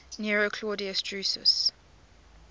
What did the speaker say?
nero claudius drusus